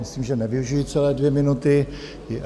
Myslím, že nevyužiji celé dvě minuty.